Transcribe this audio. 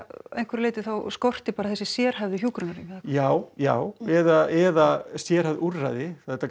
að einhverju leyti þá skorti bara þessi sérhæfðu hjúkrunarrými já já eða eða sérhæfð úrræði þetta